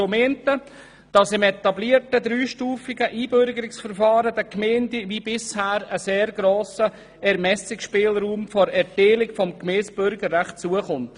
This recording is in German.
Zum einen soll im etablierten dreistufigen Einbürgerungsverfahren den Gemeinden wie bisher ein sehr grosser Ermessungsspielraum bei der Erteilung des Gemeindebürgerrechts zukommen.